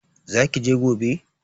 Zaki je gobe?